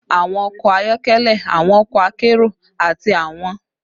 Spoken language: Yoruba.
Awọn ọkọ ayọkẹlẹ, awọn ọkọ akero, ati awọn ọkọ oju-irin jẹ awọn iru gbigbe ti o wọpọ ti a lo ninu gbigbe lojoojumọ